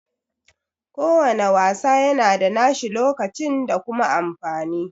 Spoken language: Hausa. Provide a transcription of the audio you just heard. Ko wanna wasa yana da nashi lokacin da kuma amfani